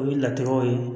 O ye latigɛw ye